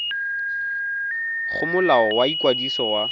go molao wa ikwadiso wa